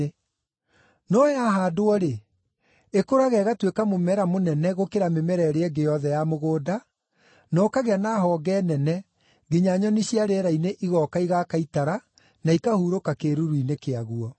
No yahaandwo-rĩ, ĩkũraga ĩgatuĩka mũmera mũnene gũkĩra mĩmera ĩrĩa ĩngĩ yothe ya mũgũnda, na ũkagĩa na honge nene nginya nyoni cia rĩera-inĩ igooka igaaka itara na ikahurũka kĩĩruru-inĩ kĩaguo.”